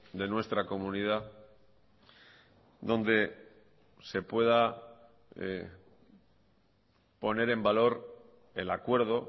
de nuestra comunidad donde se pueda poner en valor el acuerdo